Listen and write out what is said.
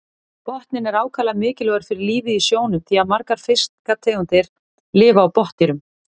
Botninn er ákaflega mikilvægur fyrir lífið í sjónum því að margar fiskategundir lifa á botndýrum.